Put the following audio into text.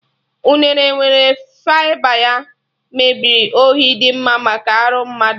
Unere nwere fịba, ya mere ohi dị mma maka arụ mmadụ